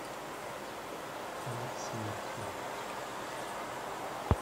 алексеевке